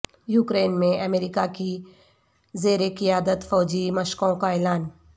Ukraine میں America کی زیر قیادت فوجی مشقوں کا اعلان